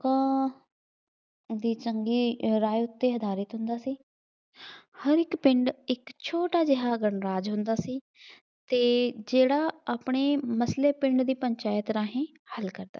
ਦੀ ਚੰਗੀ ਰਹਿਤ ਤੇ ਆਧਾਰਿਤ ਹੁੰਦਾ ਸੀ। ਹਰ ਇੱਕ ਪਿੰਡ ਇੱਕ ਛੋਟਾ ਜਿਹਾ ਵੰਗਾਰ ਹੁੰਦਾ ਸੀ ਅਤੇ ਜਿਹੜਾ ਆਪਣੇ ਮਤਲਬ ਪਿੰਡ ਦੀ ਪੰਚਾਇਤ ਰਾਹੀਂ